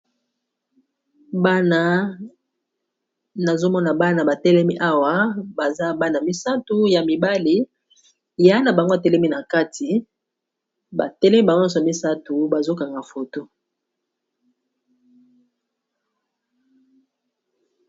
Bana nazomona bana batelemi awa baza bana misato ya mibali yaya na bango atelemi na kati ba telemi ba nyonso misato bazokanga foto.